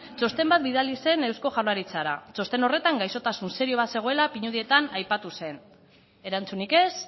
txosten bat bidali zuen eusko jaurlaritzara txosten horretan gaixotasun serio bat zegoela pinudietan aipatu zen erantzunik ez